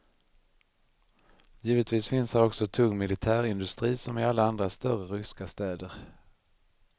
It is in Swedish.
Givetvis finns här också tung militärindustri, som i alla andra större ryska städer.